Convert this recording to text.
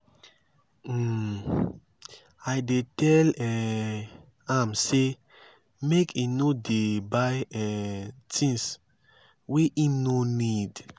um i dey tell um am sey make e no dey buy um tins wey im nor need.